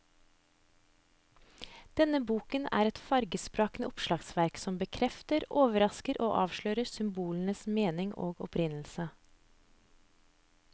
Denne boken er et fargesprakende oppslagsverk som bekrefter, overrasker og avslører symbolenes mening og opprinnelse.